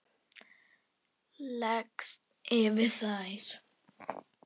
Leggst yfir þær.